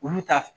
Olu ta